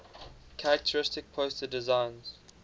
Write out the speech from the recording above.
characteristic poster designs